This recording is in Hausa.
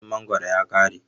Lokacin mangoro ya kare.